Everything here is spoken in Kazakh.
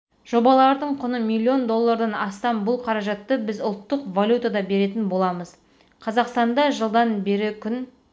жобалардың құны миллион доллардан астам бұл қаражатты біз ұлттық валютада беретін боламыз қазақстанда жылдан бері күн